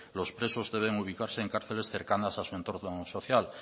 los presos debe ubicarse en cárceles cercanas a su entorno social